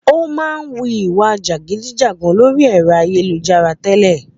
Ó máa ń wu ìwa jẹgúdújẹrá lórí ẹ̀rọ ayélujára tẹ́lẹ̀